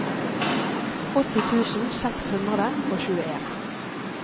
åtti tusen seks hundre og tjueen